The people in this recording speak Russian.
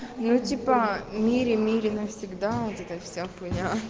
ну типа мири мири навсегда вот эта вся хуйня